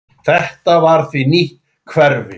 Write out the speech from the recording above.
Þetta var því nýtt hverfi.